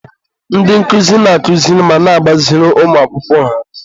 ndị nkụzi na-akụziri ma na-agbaziri ụmụ akwụkwọ ha.